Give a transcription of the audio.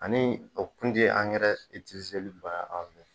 Ani o kun ti bali aw fe yen